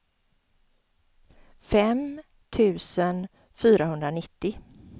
fem tusen fyrahundranittio